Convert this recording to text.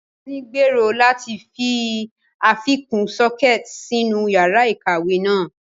Ngozi gbèrò láti fi àfikún sockets sínú yàrá ìkàwé náà.